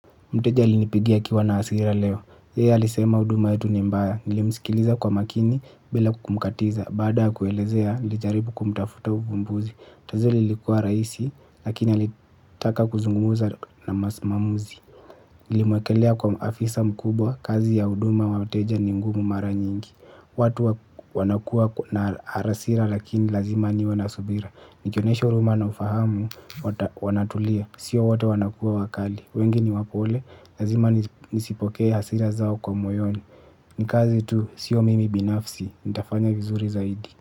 Mteja alinipigia akiwa na hasira leo. Yeye alisema huduma yetu ni mbaya. Nilimsikiliza kwa makini bila kumkatiza. Baada kuelezea, nilijaribu kumtafuta uvumbuzi. Tatizo lilikua rahisi, lakini alitaka kuzungumuza na msimamizi. Nilimwekelea kwa afisa mkubwa, kazi ya huduma wa mteja ni ngumu mara nyingi. Watu wanakua na hasira lakini lazima niwe na subira. Nikionyesha huruma na ufahamu, wanatulia. Sio wote wanakua wakali. Wengi ni wapole, nazima nisipokee hasira zao kwa moyoni. Ni kazi tu, sio mimi binafsi, nitafanya vizuri zaidi.